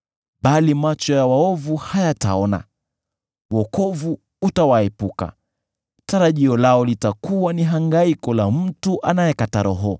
Bali macho ya waovu hayataona, wokovu utawaepuka; tarajio lao litakuwa ni hangaiko la mtu anayekata roho.”